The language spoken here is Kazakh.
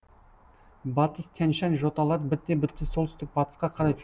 батыс тянь шань жоталары бірте бірте солтүстік батысқа қарай